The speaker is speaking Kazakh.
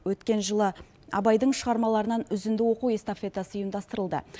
өткен жылы абайдың шығармаларынан үзінді оқу эстафетасы ұйымдастырылды